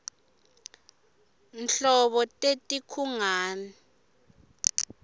nanyfti nhlobo teti nkhungn